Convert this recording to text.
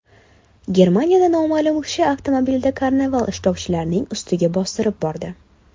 Germaniyada noma’lum kishi avtomobilda karnaval ishtirokchilarining ustiga bostirib bordi.